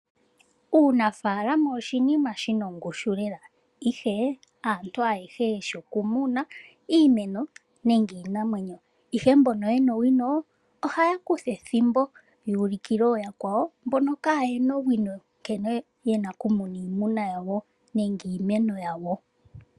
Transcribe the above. Uunafaalama oshinima shina ongushu lela ihe haantu haayehe yeshi okumuna iinamwenyo nenge iimeno ihe mbono yena owino ohaya kutha ethimbo yuulikile ooyakwawo mbono kaayena owino nkene yena oku muna iimeno yawo nenge iinamwenyo yawo.